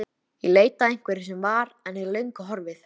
Hún ætlar hreinlega að éta hann, ákafinn er svo mikill.